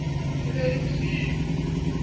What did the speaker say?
e ne e le bosiu